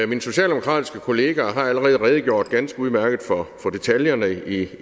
min socialdemokratiske kollega har allerede redegjort ganske udmærket for detaljerne i